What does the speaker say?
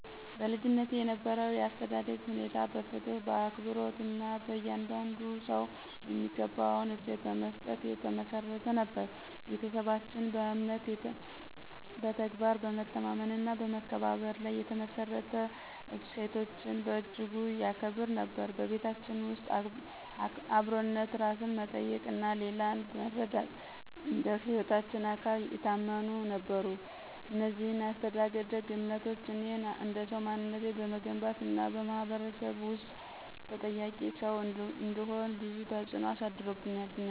በልጅነቴ የነበረው የአስተዳደግ ሁኔታ በፍትሕ በአክብሮት እና በየእያንዳንዱ ሰው የሚገባውን እሴት በመስጠት የተመሠረተ ነበር። ቤተሰባችን በእምነት በተግባር በመተማመን እና በመከባበር ላይ የተመሰረቱ እሴቶችን በእጅጉ ይከብሩ ነበር። በቤታችን ውስጥ አብሮነት ራስን መጠየቅ እና ሌላን መረዳት እንደ ህይወታችን አካል የታመኑ ነበሩ። እነዚህ የአስተዳደግ እምነቶች እኔን እንደሰው ማንነቴን በመገንባት እና በማህበረሰብ ውስጥ ተጠያቂ ሰው እንድሆን ብዙ ተፅእኖ አሳድሮብኛል።